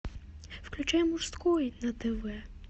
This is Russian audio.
включай мужской на тв